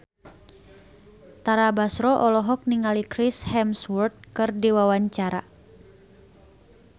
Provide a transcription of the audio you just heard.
Tara Basro olohok ningali Chris Hemsworth keur diwawancara